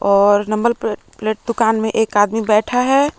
और number plate दुकान में एक आदमी बैठा है।